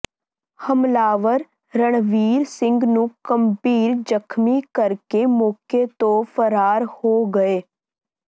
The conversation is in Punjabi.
ਹਮਲਾਵਰ ਰਣਵੀਰ ਸਿੰਘ ਨੂੰ ਗੰਭੀਰ ਜ਼ਖ਼ਮੀ ਕਰਕੇ ਮੌਕੇ ਤੋਂ ਫ਼ਰਾਰ ਹੋ ਗਏ